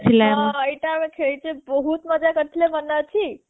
ହଁ ଏଇଟା ଆମେ ଖେଳିକି ବହୁତ ମଜା କରିଥିଲେ ମନେଅଛି